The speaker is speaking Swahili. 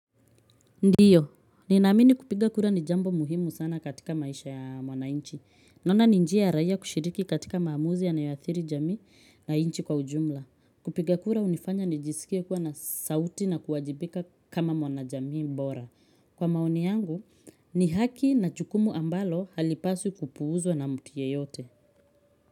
Ndio, ninaamini kupiga kura ni jambo muhimu sana katika maisha ya mwanainchi. Naona ni njia ya raia kushiriki katika maamuzi yanayo athiri jamii na inchi kwa ujumla. Kupiga kura unifanya nijisikie kuwa na sauti na kuwajibika kama mwanajamii bora. Kwa maoni yangu, ni haki na jukumu ambalo halipaswi kupuuzwa na mti yeyote.